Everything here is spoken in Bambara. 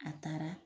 A taara